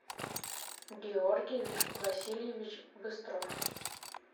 георгий васильевич быстров